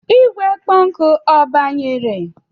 Igwe kpo oku agbanyere?